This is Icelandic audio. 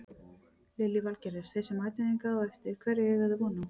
Lillý Valgerður: Þeir sem mæta hingað á eftir hverju eiga þeir von á?